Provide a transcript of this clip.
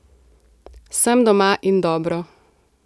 Sem doma in dobro.